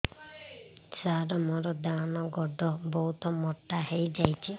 ସାର ମୋର ଡାହାଣ ଗୋଡୋ ବହୁତ ମୋଟା ହେଇଯାଇଛି